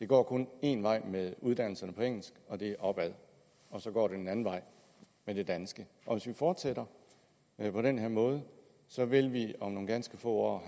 går én vej med uddannelserne på engelsk og det er opad og så går det den anden vej med det danske fortsætter vi på den her måde vil det om nogle ganske få år